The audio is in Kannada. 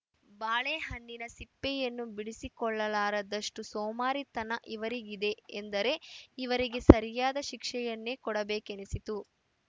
ಬಾಳೆಹಣ್ಣಿನ ಸಿಪ್ಪೆಯನ್ನು ಬಿಡಿಸಿಕೊಳ್ಳಲಾರದಷ್ಟುಸೋಮಾರಿತನ ಇವರಿಗಿದೆ ಎಂದರೆ ಇವರಿಗೆ ಸರಿಯಾದ ಶಿಕ್ಷೆಯನ್ನೇ ಕೊಡಬೇಕೆನಿಸಿತು